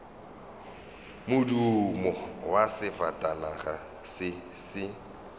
modumo wa sefatanaga se se